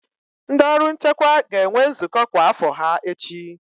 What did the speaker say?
Ndị ọrụ nchekwa ga-enwe nzukọ kwa afo ha echi.